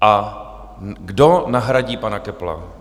A kdo nahradí pana Köppla?